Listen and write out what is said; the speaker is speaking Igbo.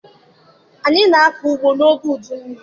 Anyị na-akọ ugbo n'oge udu mmiri